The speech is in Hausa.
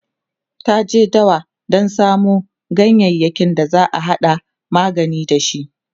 ta je dawa Dan samu ganyayaki da zata hada magani da shi